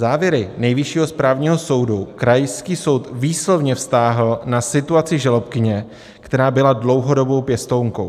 Závěry Nejvyššího správního soudu krajský soud výslovně vztáhl na situaci žalobkyně, která byla dlouhodobou pěstounkou.